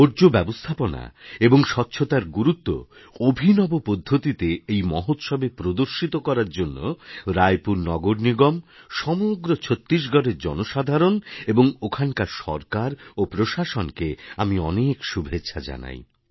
বর্জ্য ব্যবস্থাপনা এবং স্বচ্ছতার গুরুত্ব অভিনব পদ্ধতিতে এই মহোৎসবে প্রদর্শিত করার জন্য রায়পুর নগরনিগম সমগ্র ছত্তিশগড়ের জনসাধারণ এবং ওখানকার সরকার ও প্রশাসনকে আমি অনেক শুভেচ্ছা জানাই